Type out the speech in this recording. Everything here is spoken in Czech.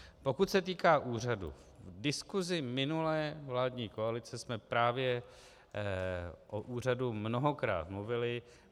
Pokud se týká úřadu, v diskusi minulé vládní koalice jsme právě o úřadu mnohokrát mluvili.